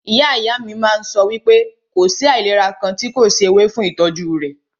Ìyá ìyá mí máà ń sọ wípé kò sí àìlera kàn tí kò sí ewé fún ìtọ́jú rẹ̀.